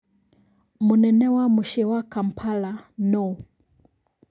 Mũnene wa mũciĩ wa Kampala nũũ?